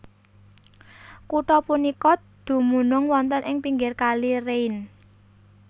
Kutha punika dumunung wonten ing pinggir Kali Rhein